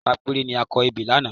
Àwa mẹ́ta péré ni a kọ ebè lánàá